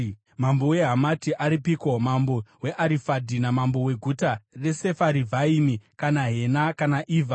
Mambo weHamati aripiko, namambo weArifadhi namambo weguta reSefarivhaimi, kana Hena kana Ivha?”